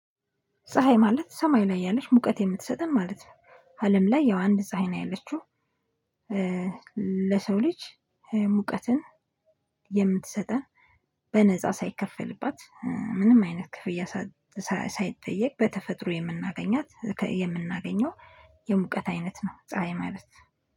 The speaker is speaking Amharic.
ፀሀይ ማለት ሰማይ ላይ ያለች ሙቀት የምትሰጠን ማለት ነው አለም ላይ ያው አንድ ፀሀይ ነው ያለችው። ለሰው ልጅ ሙቀትን የምትሰጠን በነፃ ሳይከፈልባት ምንም አይነት ክፍያ ሳይጠየቅ በተፈጥሮ የምናገኛት የምናገኘው የሙቀት አይነት ነው። ፀሀይ ማለት